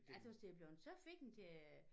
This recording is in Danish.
Jeg tøs det er bleven så fint øh